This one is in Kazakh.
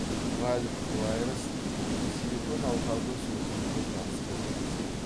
ральф ваерст силликон алқабы сөзін қолданысқа енгізді